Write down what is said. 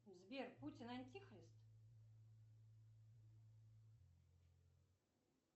сбер путин антихрист